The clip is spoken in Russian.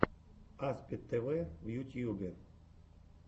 аспид тв в ютьюбе